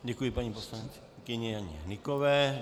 Děkuji paní poslankyni Janě Hnyková.